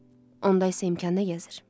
Onda isə imkanda gəzir.